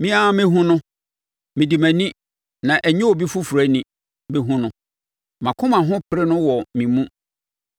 Me ara mɛhunu no mede mʼani, na ɛnyɛ obi foforɔ ani, bɛhunu no. Mʼakoma ho pere no wɔ me mu.